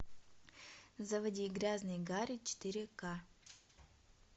заводи грязный гарри четыре ка